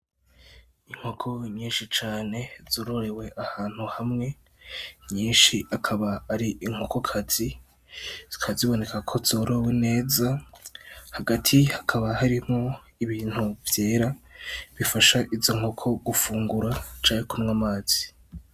Inkoko nyinshi cane zororewe ahantu hamwe nyinshi akaba ari inkokokazi zikaba ziboneka ko zorowe neza, hagati hakaba harimwo ibintu vyera bifasha izo nkoko gufungura canke kunywa amazi.